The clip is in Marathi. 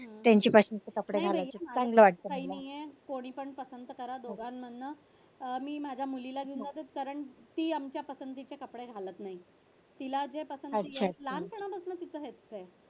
नाहीये कोणीपण पसंत करा. दोघांमधन. मी माझ्या मुलीला कारण ती माझ्या पसंतीचे कपडे घालत नाहीये. तिला जे पसंत येत नाही लहानपणापासूनच त्यांचं असं आहे.